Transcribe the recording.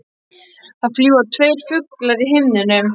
Það fljúga tveir fuglar í himninum.